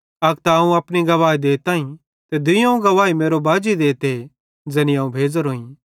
अक त अवं अपनी गवाही देताईं ते दुइयोवं गवाही मेरो बाजी देते ज़ैनी अवं भेज़ोरोईं